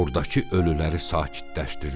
Ordakı ölüləri sakitləşdirdi.